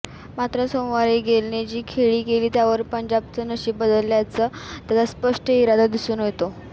मात्र सोमवारी गेलने जी खेळी केली त्यावरून पंजाबचं नशीब बदलण्याचा त्याचा स्पष्ट इरादा दिसून येतो